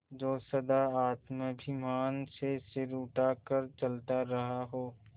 जो सदा आत्माभिमान से सिर उठा कर चलता रहा हो